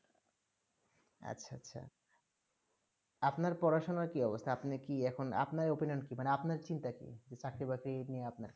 আচ্ছা আচ্ছা আপনার পড়াশোনা কি অবস্থা আপনি কি এখন আপনার opinion কি মানে আপনার চিন্তা কি যে চাকরি বাকরি নিয়ে আপনার